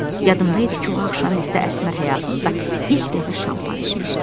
Yadımda idi ki, o axşam bizdə Əsmər həyatında ilk dəfə şampan içmişdi.